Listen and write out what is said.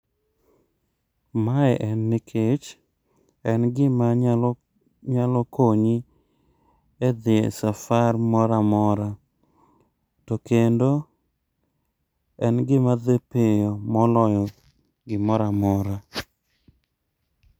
Ma en nikech, en gima nyalo konyi e dhi safar moro amora. To Kendo en gima dhi piyo moloyo gimoro amora.